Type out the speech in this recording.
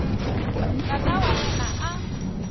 tata wa yena a n